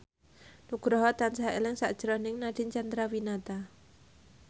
Nugroho tansah eling sakjroning Nadine Chandrawinata